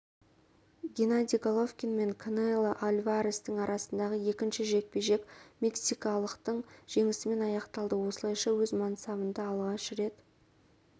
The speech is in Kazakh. геннадий головкин мен канело альварестің арасындағы екінші жекпе-жек мексикалықтың жеңісімен аяқталды осылайша өз мансабында алғаш рет